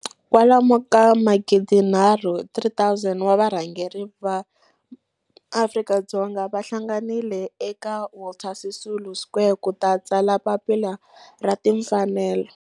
Kwalomu ka magidi nharhu, 3 000, wa varhangeri va maAfrika-Dzonga va hlanganile eka Walter Sisulu Square ku ta tsala Papila ra Timfanelo.